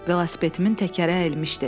Velosipedimin təkəri əyilmişdi.